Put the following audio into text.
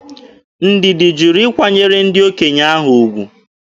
Ndidi jụrụ ịkwanyere ndị okenye ahụ ugwu.